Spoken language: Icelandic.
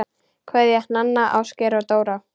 Kveðja, Nanna, Ásgeir og Dóra